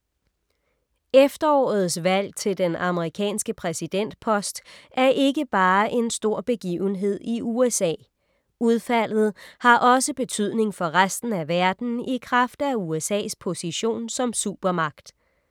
Efterårets valg til den amerikanske præsidentpost er ikke bare en stor begivenhed i USA. Udfaldet har også betydning for resten af verden i kraft af USA’s position som supermagt.